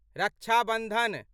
रक्षा बन्धन